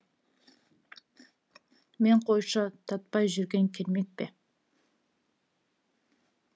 мен қойшы татпай жүрген кермек пе